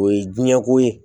O ye diɲɛ ko ye